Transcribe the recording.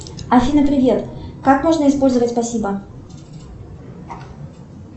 афина привет как можно использовать спасибо